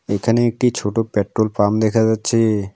এখানে একটি ছোট পেট্রোল পাম্প দেখা যাচ্ছে।